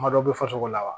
Kuma dɔ bɛ fɔ fasugu la wa